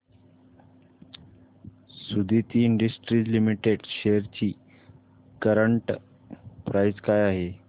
Suditi industries limited shares ची current price काय आहे